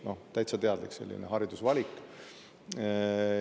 Täitsa teadlik haridusvalik.